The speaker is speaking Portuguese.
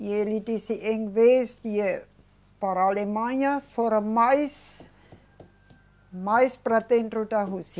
E ele disse, em vez de ir para a Alemanha, fora mais mais para dentro da Rússia.